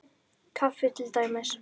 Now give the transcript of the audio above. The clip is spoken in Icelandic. Kaffi til dæmis.